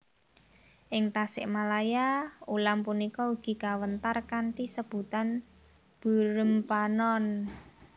Ing Tasikmalaya ulam punika ugi kawéntar kanthi sebutan beureum panon